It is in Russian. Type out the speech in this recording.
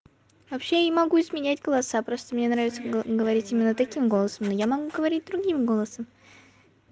вообще я не могу изменять класса просто мне нравится говорить именно таким голосом но я могу говорить другим голосом